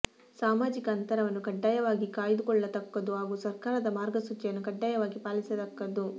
ಸಾಮಾಜಿಕ ಅಂತರವನ್ನು ಕಡ್ಡಾಯವಾಗಿ ಕಾಯ್ದುಕೊಳ್ಳತಕ್ಕದ್ದು ಹಾಗೂ ಸರ್ಕಾರದ ಮಾರ್ಗಸೂಚಿಯನ್ನು ಕಡ್ಡಾಯವಾಗಿ ಪಾಲಿಸತಕ್ಕದ್ದು